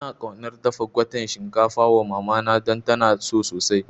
Ina kaunar dafa gwaten shinkafa wa mamana don tana so sosai